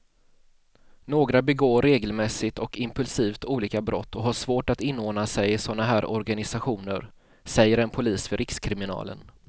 Några begår regelmässigt och impulsivt olika brott och har svårt att inordna sig i såna här organisationer, säger en polis vid rikskriminalen.